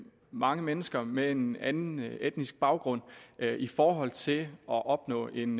mange mennesker med en anden etnisk baggrund i forhold til at opnå en